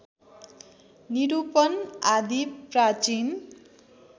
निरूपण आदि प्राचीन